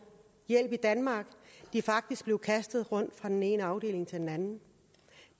hjælp i danmark de er faktisk blev kastet rundt fra den ene afdeling til den anden